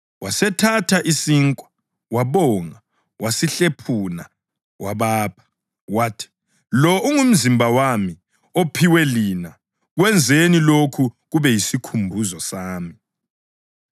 Wasethatha isinkwa, wabonga wasesihlephuna wabapha, wathi, “Lo ngumzimba wami ophiwe lina; kwenzeni lokhu kube yisikhumbuzo sami.”